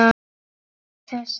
Án þess hefur